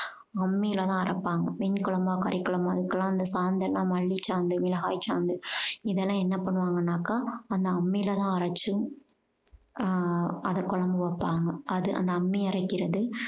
அம்மில தான் அரைப்பாங்க மீன் குழம்பா கறி குழம்பா அதுக்கெல்லாம் அந்த சாந்து எல்லாம் மல்லிச் சாந்து மிளகாய் சாந்து இதெல்லாம் என்ன பண்ணுவாங்கனாக்கா அந்த அம்மில தான் அரைச்சும் அஹ் அத குழம்பு வைப்பாங்க அது அந்த அம்மி அரைக்குறது